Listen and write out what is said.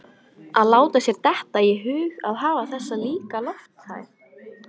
Að láta sér detta í hug að hafa þessa líka lofthæð